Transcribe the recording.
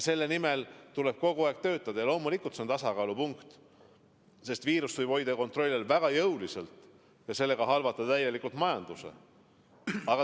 Selle nimel tuleb kogu aeg töötada ja loomulikult on see tasakaalupunkti, sest viirust võib hoida kontrolli all väga jõuliselt ja selle tagajärjel halvata täielikult majanduse.